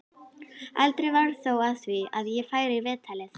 Aldrei varð þó af því að ég færi í viðtalið.